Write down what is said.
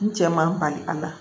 N cɛ man bali a la